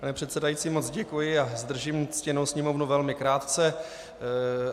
Pane předsedající, moc děkuji a zdržím ctěnou Sněmovnu velmi krátce.